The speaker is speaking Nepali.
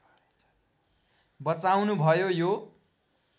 बचाउनु भयो यो